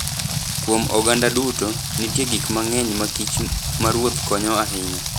Kuom oganda duto, nitie gik mang'eny ma kich maruoth konyo ahinya.